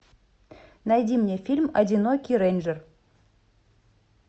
найди мне фильм одинокий рейнджер